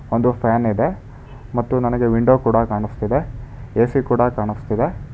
ಒಂದು ಫ್ಯಾನ್ ಇದೆ ಮತ್ತು ನನಗೆ ವಿಂಡೋ ಕೊಡ ಕಾಣಿಸ್ತಿದೆ ಎ_ಸಿ ಕಾಣಿಸ್ತಿದೆ.